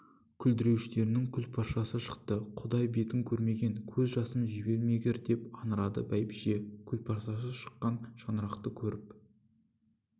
күлдіреуіштерінің күлпаршасы шықты құдай бетін көрмегір көз жасым жібермегір деп аңырады бәйбіше күлпаршасы шыққан шаңырақты көріп